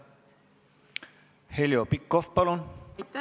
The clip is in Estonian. Heljo Pikhof, palun!